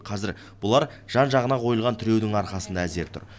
қазір бұлар жан жағына қойылған тіреудің арқасында әзер тұр